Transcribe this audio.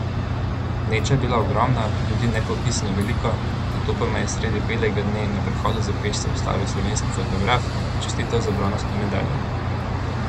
Gneča je bila ogromna, ljudi nepopisno veliko, nato pa me je sredi belega dne na prehodu za pešce ustavil slovenski fotograf in mi čestital za bronasto medaljo!